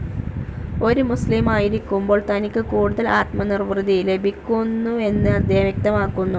ഒരു മുസ്ലീമായിരിക്കുമ്പോൾ തനിക്ക് കൂടുതൽ ആത്മനിർവൃതി ലഭിക്കുന്നുവെന്ന് അദ്ദേഹം വ്യക്തമാകുന്നു.